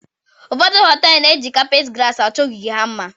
Ụfọdụ họtel na-eji kapet gras achọọ ogige ha mma.